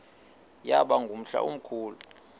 yaba ngumhla omkhulu